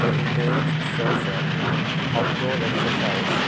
The image shows a outdoor exercise